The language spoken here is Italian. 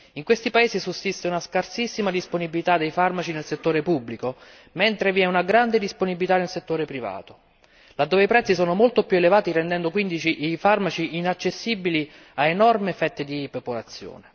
In questi paesi sussiste una scarsissima disponibilità dei farmaci nel settore pubblico, mentre vi è grande disponibilità nel settore privato, dove i prezzi sono molto più elevati, rendendo quindi i farmaci inaccessibili a enormi fette di popolazione.